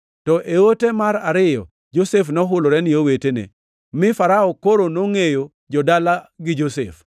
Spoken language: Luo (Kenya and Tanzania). To e ote mar ariyo, Josef nohulore ni owetene, mi Farao koro nongʼeyo jo-dalagi Josef.